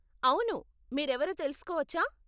అవును, మీరెవరో తెలుసుకోవచ్చా?